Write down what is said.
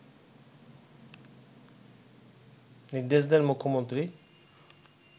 নির্দেশ দেন মুখ্যমন্ত্রী